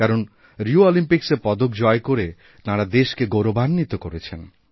কারণ রিওঅলিম্পিক্সে পদক জয় করে তাঁরা দেশকে গৌরবান্বিত করেছেন